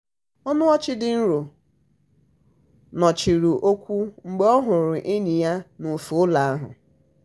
ọnụ ọchị dị nro nọchiri okwu mgbe ọ hụrụ enyi ya n'ofe ụlọ ahụ.